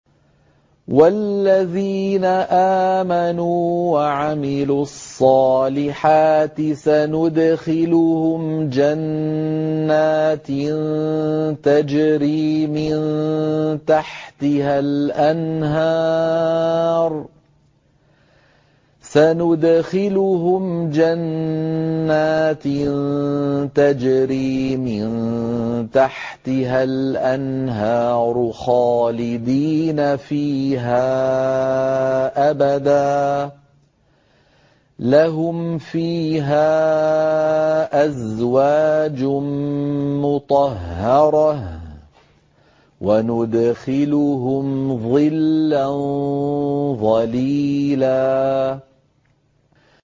وَالَّذِينَ آمَنُوا وَعَمِلُوا الصَّالِحَاتِ سَنُدْخِلُهُمْ جَنَّاتٍ تَجْرِي مِن تَحْتِهَا الْأَنْهَارُ خَالِدِينَ فِيهَا أَبَدًا ۖ لَّهُمْ فِيهَا أَزْوَاجٌ مُّطَهَّرَةٌ ۖ وَنُدْخِلُهُمْ ظِلًّا ظَلِيلًا